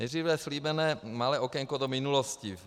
Nejdříve slíbené malé okénko do minulosti.